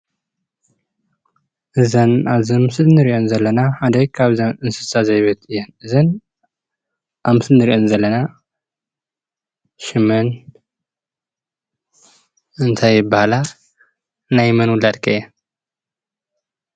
እዘን አብ ምስሊ እንሪኤን ዘለና ሓደ ካብተን እንስሳ ዜብየት እየን:: እዘን አብ ምስሊ እንሪአን ዘለና ሽመን እንታይ ይባሃላ:: ናይ መን ውላድ ከ እየን?